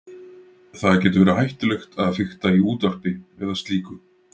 það getur verið hættulegt að fikta í útvarpi eða slíku